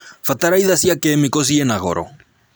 Bataraitha cia kemiko ciina goro